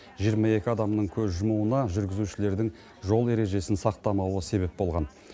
жиырма екі адамның көз жұмуына жүргізушілердің жол ережесін сақтамауы себеп болған